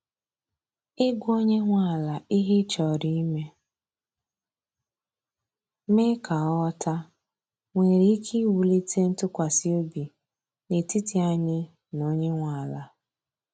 i gwa onye nwe ala ihe ị chọrọ ime, mee ka ọ ghọta, nwere ike iwulite ntụkwasị obi n’etiti anyị na onye nwe ala.